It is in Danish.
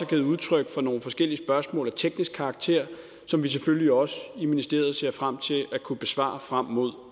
givet udtryk for nogle forskellige spørgsmål af teknisk karakter som vi selvfølgelig også i ministeriet ser frem til at kunne besvare frem mod